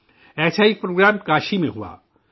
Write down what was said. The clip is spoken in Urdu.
ایسا ہی ایک پروگرام کاشی میں ہوا